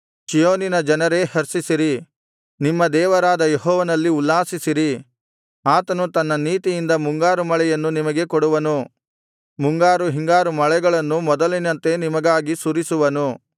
ಚೀಯೋನಿನ ಜನರೇ ಹರ್ಷಿಸಿರಿ ನಿಮ್ಮ ದೇವರಾದ ಯೆಹೋವನಲ್ಲಿ ಉಲ್ಲಾಸಿಸಿರಿ ಆತನು ತನ್ನ ನೀತಿಯಿಂದ ಮುಂಗಾರು ಮಳೆಯನ್ನು ನಿಮಗೆ ಕೊಡುವನು ಮುಂಗಾರು ಹಿಂಗಾರು ಮಳೆಗಳನ್ನು ಮೊದಲಿನಂತೆ ನಿಮಗಾಗಿ ಸುರಿಸುವನು